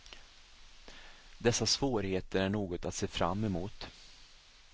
Dessa svårigheter är något att se fram emot.